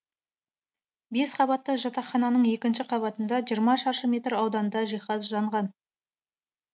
бес қабатты жатақхананың екінші қабатында жиырма шаршы метр ауданда жиһаз жанған